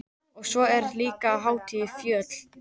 Og svo er þetta líka hátíð fjöl